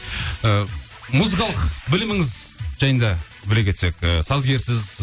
і музыкалық біліміңіз жайында біле кетсек ы сазгерсіз